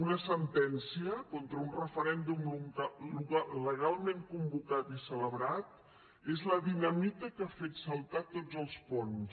una sentència contra un referèndum legalment convocat i celebrat és la dinamita que ha fet saltar tots els ponts